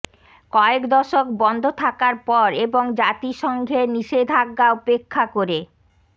কয়েক দশক বন্ধ থাকার পর এবং জাতিসংঘের নিষেধাজ্ঞা উপেক্ষা করে